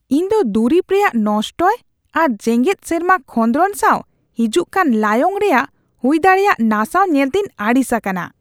ᱤᱧ ᱫᱚ ᱫᱩᱨᱤᱵ ᱨᱮᱭᱟᱜ ᱱᱚᱥᱴᱚᱭ ᱟᱨ ᱡᱮᱜᱮᱫ ᱥᱮᱨᱢᱟ ᱠᱷᱚᱸᱫᱨᱚᱱ ᱥᱟᱣ ᱦᱤᱡᱩᱜ ᱠᱟᱱ ᱞᱟᱭᱚᱝ ᱨᱮᱭᱟᱜ ᱦᱩᱭ ᱫᱟᱲᱮᱭᱟᱜ ᱱᱟᱥᱟᱣ ᱧᱮᱞᱛᱮᱧ ᱟᱹᱲᱤᱥ ᱟᱠᱟᱱᱟ ᱾